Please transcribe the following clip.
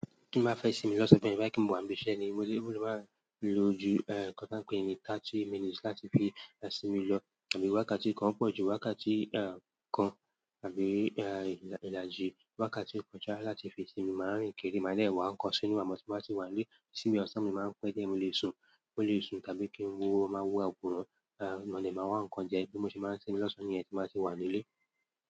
Bí mo bá fẹ́ sinmi lọ́sàn fún ẹni bá kí n mo wa ń bísẹ́ ni, mo le, mo le máa lo ju, eh, nǹkan tí a ń pè ní thirty minutes láti fi sinmi lọ àbí wákàtí kan pọ̀jù, wákàtí, eh, kan àbí, eh, ìlà, ìlàjì wákàtí kan já láti fi sinmi. Màá rìn kiri, màá dẹ̀ ẹ̀wà ń kọnsínú, àmọ́ tí mo bá ti wà nílé, síbi ọ̀sán mi máa ń pẹ́ díẹ̀ mo lè sun. Mo lè sun tàbí kí n wúwo, máa wúwo àbúrò, eh, mo ní ẹ máa wá nǹkan jẹ ẹ. Bí mo ṣe máa ń sinmi lọ́sọ́ọ̀ ní ẹ̀yin tí máa ti wà nílé.